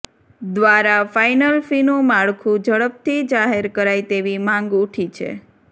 દ્વારા ફાઇનલ ફીનું માળખુ ઝડપથી જાહેર કરાઇ તેવી માંગ ઉઠી છે